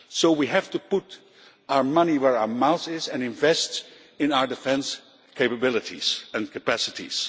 We have to put our money where our mouth is and invest in our defence capabilities and capacities.